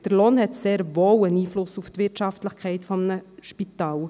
Der Lohn hat sehr wohl einen Einfluss auf die Wirtschaftlichkeit eines Spitals.